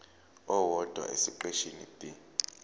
owodwa esiqeshini b